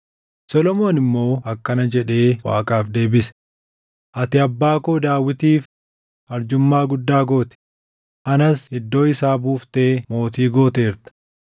Solomoon immoo akkana jedhee Waaqaaf deebise; “Ati abbaa koo Daawitiif arjummaa guddaa goote; anas iddoo isaa buuftee mootii gooteerta.